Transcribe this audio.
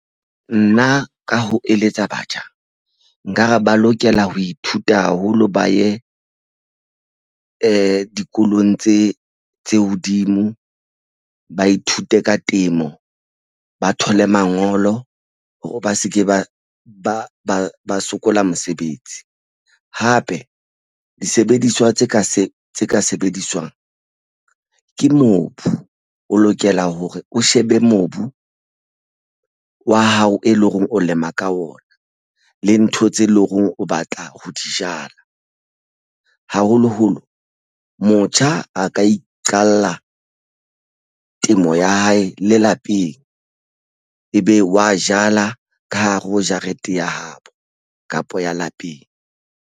Nna ka ho eletsa batjha nkare ba lokela ho ithuta haholo, ba ye dikolong tse hodimo ba ithute ka temo ba thole mangolo hore ba seke ba ba ba ba sokola mosebetsi hape disebediswa tse ka se tse ka sebediswang ke mobu o lokela hore o shebe mobu wa hao e leng hore o lema ka ona le ntho tse leng hore o batla ho di jala haholoholo motjha a ka e qala temo ya hae le lapeng ebe wa e jala ka hare ho jarete ya hao kapa ya lapeng.